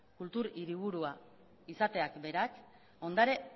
kultur hiriburua izateak berak ondare